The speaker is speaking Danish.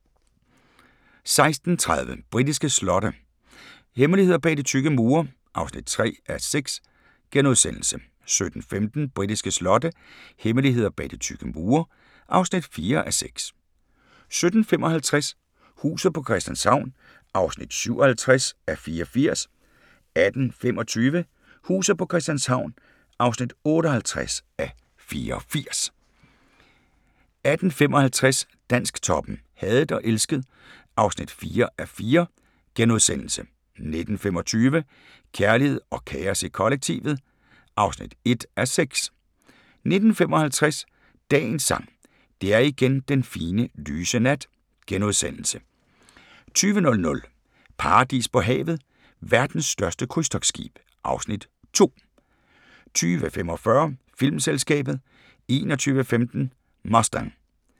16:30: Britiske slotte – hemmeligheder bag de tykke mure (3:6)* 17:15: Britiske slotte – hemmeligheder bag de tykke mure (4:6) 17:55: Huset på Christianshavn (57:84) 18:25: Huset på Christianshavn (58:84) 18:55: Dansktoppen: Hadet og elsket (4:4)* 19:25: Kærlighed og kaos i kollektivet (1:6) 19:55: Dagens Sang: Det er igen den fine, lyse nat * 20:00: Paradis på havet – Verdens største krydstogtskib (Afs. 2) 20:45: Filmselskabet 21:15: Mustang